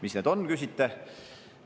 Mis need on, küsite.